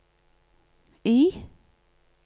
I